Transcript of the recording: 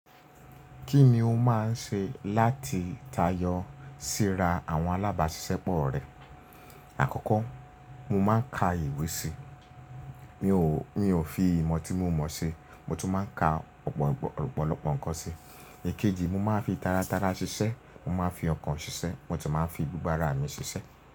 Kí ni o máa ń ṣe láti tayọ síra àwọn alábàáṣiṣẹ́ pọ̀ rẹ? Àkọ́kọ́, mo máa ń ka ìwé síi mio. Mi ò fi ìmọ̀ tí mo mọ̀ ṣe, mo tún máa ń ka ọ̀pọ̀lọpọ̀ nǹkan síi. Èkejì, mo máa ń fi tara tara ṣiṣẹ́, mo máa ń fi ọkàn ṣiṣẹ́, mo tún máa ń fi gbogbo ara mi ṣiṣẹ́.